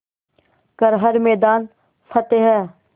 कर हर मैदान फ़तेह